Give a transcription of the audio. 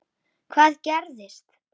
Hvað gerðist?